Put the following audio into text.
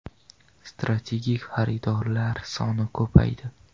Strategik xaridorlar soni ko‘paydi.